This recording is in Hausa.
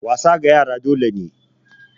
Wasa ga yara dole ne